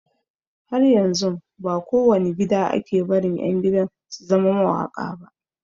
Har yanzun ba ko wani gida ake barin ƴan gidan su zama mawaƙa ba